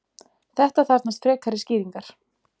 þetta þarfnast frekari skýringar